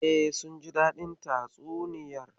E, sun ji daɗin tatsuniyar.